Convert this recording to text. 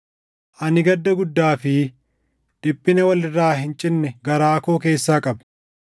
ani gadda guddaa fi dhiphina wal irraa hin cinne garaa koo keessaa qaba.